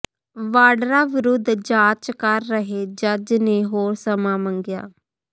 ਵਾਡਰਾ ਵਿਰੁੱਧ ਜਾਂਚ ਕਰ ਰਹੇ ਜੱਜ ਨੇ ਹੋਰ ਸਮਾਂ ਮੰਗਿਆ